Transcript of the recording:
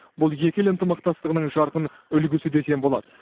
бұл екі ел ынтымақтастығының жарқын үлгісі десем болады